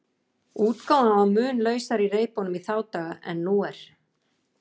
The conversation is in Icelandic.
Útgáfan var mun lausari í reipunum í þá daga en nú er.